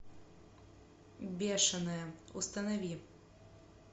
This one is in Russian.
бешеная установи